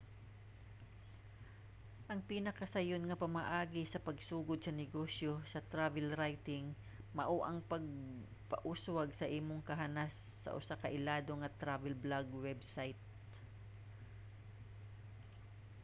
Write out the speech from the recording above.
ang pinakasayon nga pamaagi sa pagsugod sa negosyo sa travel writing mao ang pagpauswag sa imong kahanas sa usa ka ilado nga travel blog website